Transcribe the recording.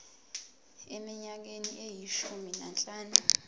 eminyakeni eyishumi nanhlanu